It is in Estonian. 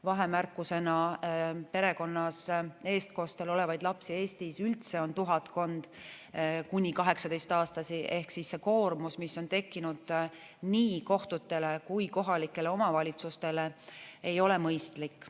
Vahemärkusena: perekonnas eestkostel olevaid lapsi Eestis üldse on tuhatkond kuni 18-aastast ehk siis see koormus, mis on tekkinud nii kohtutele kui kohalikele omavalitsustele, ei ole mõistlik.